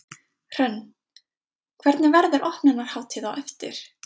Hrönn, hvernig, verður opnunarhátíð á eftir?